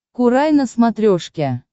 курай на смотрешке